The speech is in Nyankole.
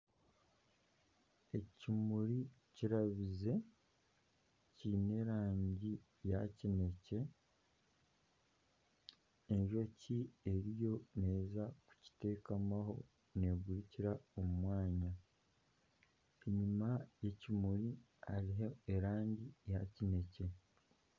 Ekimuri kirabize kiine erangi ya kinekye enjoki eriyo neeza kukiteekamaho negurukira omu mwanya enyuma y'ekimuri hariho erangi ya kinekye.